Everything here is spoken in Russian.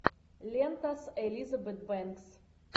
лента с элизабет бэнкс